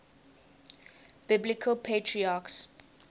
biblical patriarchs